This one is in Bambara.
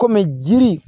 Kɔmi jiri